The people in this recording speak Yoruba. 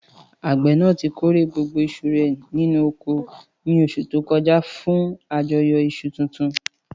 Àgbẹ̀ náà ti kórè gbogbo iṣu rẹ̀ nínú oko ní oṣù tó kọjá fún àjọyọ̀ iṣu tuntun.